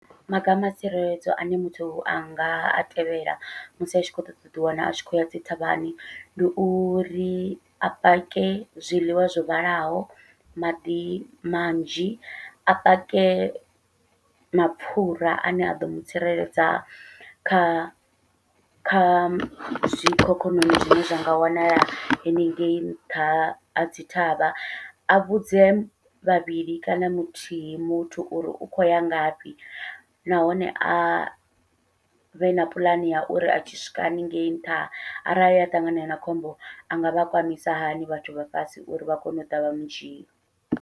Maga ama tsireledzo ane muthu anga a tevhela musi a tshi khou ṱoḓa uḓi wana a tshi khou ya dzi thavhani, ndi uri a pake zwiḽiwa zwo vhalaho, maḓi manzhi, a pake mapfhura ane a ḓo mutsireledza kha kha zwikhokhonono zwine zwa nga wanala haningei nṱha ha dzi thavha, a vhudze vhavhili kana muthihi muthu uri u khou ya ngafhi nahone avhe na puḽane ya uri a tshi swika haningei nṱha arali anga ṱangana na khombo a ngavha kwamisa hani vhathu vha fhasi uri vha kone uḓa vha mudzhia.